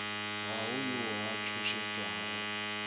ga go yo a tšhošetšwago